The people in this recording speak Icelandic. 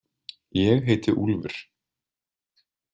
Ég heiti Úlfur.